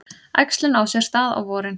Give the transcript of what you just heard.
Æxlun á sér stað á vorin.